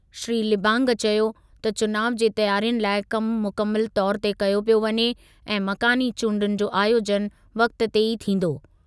श्री लिबांग चयो त चुनाव जी तयारियुनि लाइ कमु मुकमिलु तौर ते कयो पियो वञे ऐं मकानी चूंडुनि जो आयोजनु वक़्ति ते ई थींदो।